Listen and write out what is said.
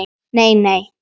Nei, nei!